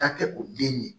Taa kɛ o den nin ye